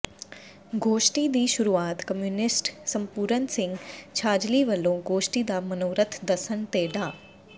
ਗੋਸ਼ਟੀ ਦੀ ਸ਼ੁਰੂਆਤ ਕਮਿਊਨਿਸਟ ਸੰਪੂਰਨ ਸਿੰਘ ਛਾਜਲੀ ਵੱਲੋਂ ਗੋਸ਼ਟੀ ਦਾ ਮਨੋਰਥ ਦੱਸਣ ਤੇ ਡਾ